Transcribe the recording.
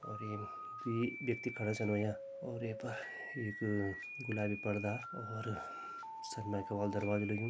और यमु द्वी व्यक्ति खड़ा छन हव्यां और ये पर एक गुलाबी परदा और सनमाइका वालु दरवाजा लग्यूं।